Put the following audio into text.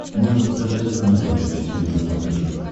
можешь показать франс двадцать четыре на смотрешке